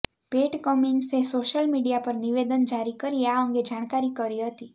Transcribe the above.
પેટ કમિન્સે social media પર નિવેદન જારી કરી આ અંગે જાણકારી કરી હતી